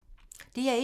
DR1